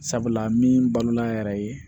Sabula min balo an yɛrɛ ye